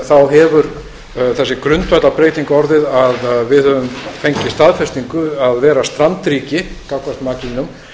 þá hefur þessi grundvallarbreyting orðið að við höfum fengið staðfestingu að vera strandríki gagnvart makrílnum